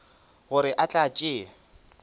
gore a tle a tšee